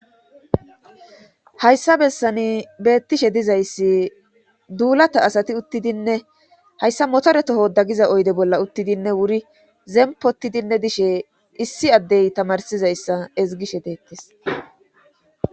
hayssa bessani beettishe dizayssi duulata asati uttidinne hayssa motoretoho dagiza oyde bolla uttidinne wuri zempotidinne dishe issi addey tamarsizayssa ezigishe deettes